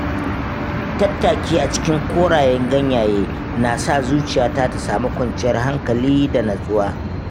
Tattaki a cikin korayen ganyaye na sa zuciyata ta sami kwanciyar hankali da nutsuwa.